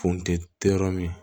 Funteni tɛ yɔrɔ min